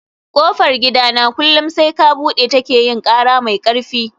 kofar gidana kullum sai ka bude ta ke yin kara mai karfi